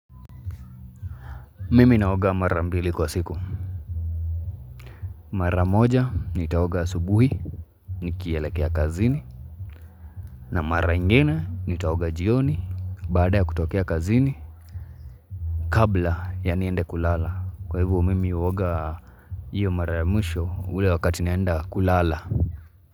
Mimi naoga mara mbili kwa siku. Mara moja, nitaoga asubuhi, nikielekea kazini. Na mara ingine, nitaoga jioni, baada ya kutokea kazini. Kabla, ya niende kulala. Kwa hivo, mimi uoga iyo mara mwisho, ule wakati naenda kulala.